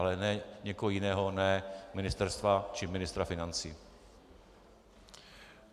Ale někoho jiného, ne Ministerstva či ministra financí.